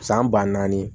San ba naani